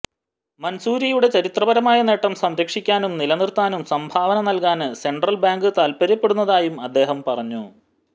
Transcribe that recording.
മന്സൂരിയുടെ ചരിത്രപരമായ നേട്ടം സംരക്ഷിക്കാനും നിലനിര്ത്താനും സംഭാവന നല്കാന് സെന്ട്രല് ബാങ്ക് താല്പ്പര്യപ്പെടുന്നതായും അദ്ദേഹം പറഞ്ഞു